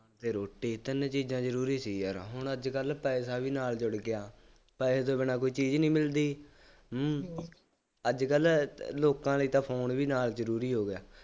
ਅਤੇ ਰੋਟੀ, ਤਿੰਨ ਚੀਜ਼ਾਂ ਜ਼ਰੂਰੀ ਸੀ ਯਾਰ, ਹੁਣ ਅੱਜ ਕੱਲ੍ਹ ਪੈਸਾ ਵੀ ਨਾਲ ਜੁੜ ਗਿਆ, ਪੈਸੇ ਤੋਂ ਬਿਨਾ ਕੋਈ ਚੀਜ਼ ਨਹੀਂ ਮਿਲਦੀ, ਹੂੰ, ਅੱਜ ਕੱਲ੍ਹ ਲੋਕਾਂ ਦੇ ਤਾਂ ਫੋਨ ਵੀ ਨਾਲ ਜ਼ਰੂਰੀ ਹੋ ਗਏ।